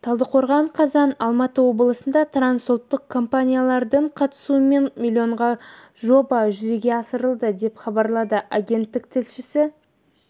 талдықорған қазан алматы облысында трансұлттық компаниялардың қатысуымен миллионға жоба жүзеге асырылады деп хабарлады агенттік тілшісі